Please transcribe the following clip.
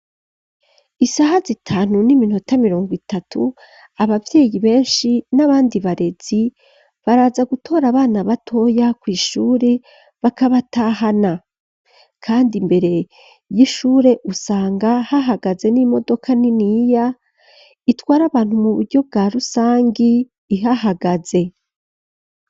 Isaha zitanu n'iminota mirongo itatu abavyeyi benshi n'abandi barezi baraza gutora abana batoya ku ishure bakabatahana kandi imbere y'ishure usanga hahagaze n'imodoka niniya itwara abantu mu buryo bwa rusangi ihahagaze.